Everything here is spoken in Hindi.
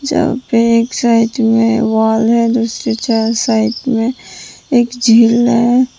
जहाँ पे एक साइड में वॉल हैं दुसरी चहा साइड में एक झील हैं।